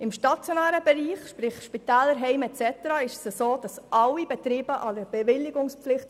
Im stationären Bereich sprich Spitäler, Heime und so weiter unterliegen alle Betriebe einer Bewilligungspflicht.